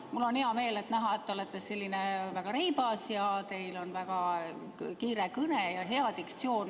Mul on hea meel, et te olete väga reibas ja teil on väga kiire kõne ja hea diktsioon.